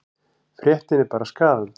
Fréttin er bara skaðandi.